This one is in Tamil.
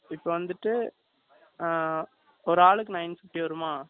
இப்ப வந்துட்டு, ஆ, ஒரு ஆளுக்கு nine fifty வருமா?